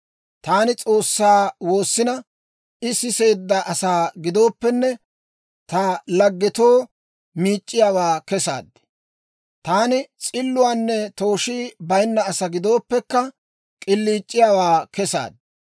Taani S'oossaa woossina, I siseedda asaa gidooppenne, ta laggetoo miic'c'iyaawaa kesaad; taani s'illuwaanne tooshii bayinna asaa gidooppekka, k'iliic'iyaawaa kesaad.